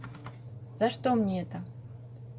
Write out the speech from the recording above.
за что мне это